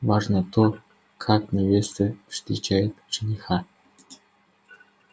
важно то как невеста встречает жениха